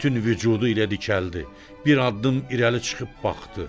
Bütün vücudu ilə dikəldi, bir addım irəli çıxıb baxdı.